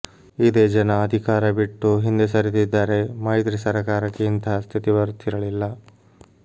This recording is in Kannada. ಇದೇ ಜನ ಅಧಿಕಾರ ಬಿಟ್ಟು ಹಿಂದೆ ಸರಿದಿದ್ದರೆ ಮೈತ್ರಿ ಸರ್ಕಾರಕ್ಕೆ ಇಂತಹ ಸ್ಥಿತಿ ಬರುತ್ತಿರಲಿಲ್ಲ